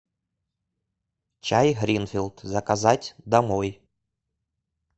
чай гринфилд заказать домой